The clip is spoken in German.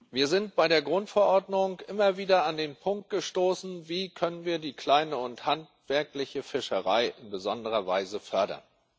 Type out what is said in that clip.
Wir sind bei der Grundverordnung immer wieder an den Punkt gestoßen Wie können wir die kleine und handwerkliche Fischerei in besonderer Weise fördern?